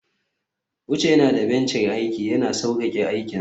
uche yana da benci na aiki, yana sauƙaƙa aikinsa